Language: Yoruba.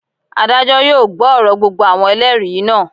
Adájọ́ yóò gbọ́ ọ̀rọ̀ gbogbo àwọn Ẹlẹ́rìí náà.